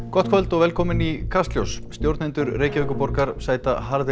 gott kvöld og velkomin í Kastljós stjórnendur Reykjavíkurborgar sæta harðri